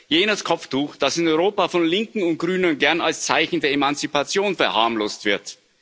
Jenes Kopftuch, das in Europa von Linken und Grünen gern als Zeichen der Emanzipation verharmlost wird.